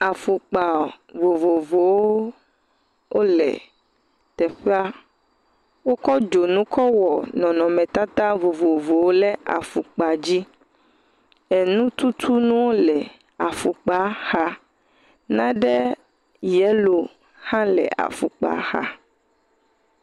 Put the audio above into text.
Afɔkpa vovovowo wole teƒea, wokɔ dzonu kɔ wɔ nɔnɔmetata vovowo le afɔkpa dzi enututunu le afɔmpa xa naɖe yellow ha le afɔkpa xa.